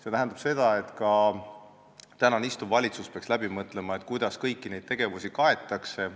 See tähendab seda, et ka praegune istuv valitsus peaks läbi mõtlema, kuidas kõiki neid tegevusi kaetakse.